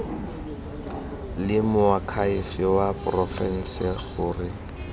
le moakhaefe wa porofense gore